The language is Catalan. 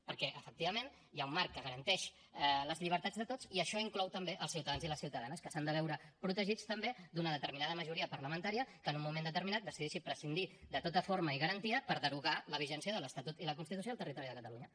perquè efectivament hi ha un marc que garanteix les llibertats de tots i això inclou també els ciutadans i les ciutadanes que s’han de veure protegits també d’una determinada majoria parlamentària que en un moment determinat decideixi prescindir de tota forma i garantia per derogar la vigència de l’estatut i la constitució al territori de catalunya